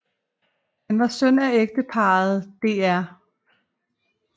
Han var søn af ægteparret dr